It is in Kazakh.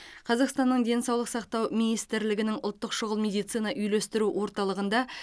қазақстанның денсаулық сақтау министрлігінің ұлттық шұғыл медицина үйлестіру орталығында